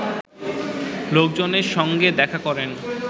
লোকজনের সঙ্গে দেখা করেন